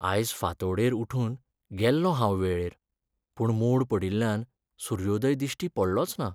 आयज फांतोडेर उठून गेल्लों हांव वेळेर, पूण मोड पडिल्ल्यान सुर्योदय दिश्टी पडलोच ना.